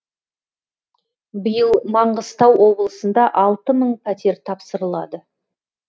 биыл маңғыстау облысында алты мың пәтер тапсырылады